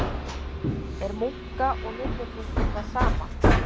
Er munka- og nunnuklaustur það sama?